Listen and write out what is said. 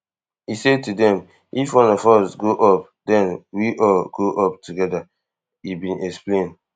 i say to dem if one of us go up den we all go up togeda e bin explain